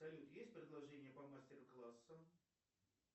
салют есть предложение по мастер классам